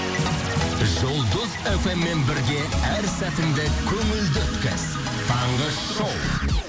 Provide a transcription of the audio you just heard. жұлдыз эф эм мен бірге әр сәтіңді көңілді өткіз таңғы шоу